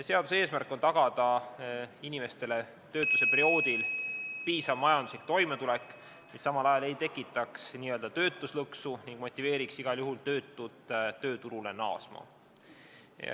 Seaduse eesmärk on tagada inimestele töötuse perioodil piisav majanduslik toimetulek, mis samal ajal ei tekitaks n-ö töötuslõksu ning motiveeriks igal juhul töötut tööturule naasma.